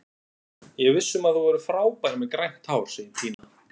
Ég er viss um að þú verður frábær með grænt hár, segir Pína.